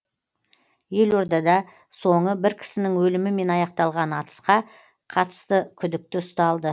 елордада соңы бір кісінің өлімімен аяқталған атысқа қатысты күдікті ұсталды